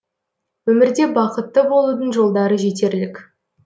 өмірде бақытты болудың жолдары жетерлік